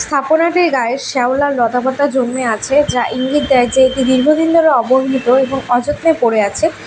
স্থাপনাটির গায়ে শ্যাওলা লতা পাতা জন্মে আছে যা ইঙ্গিত দেয় যে এটি দীর্ঘদিন ধরে অবহেলিত এবং অযত্নে পড়ে আছে।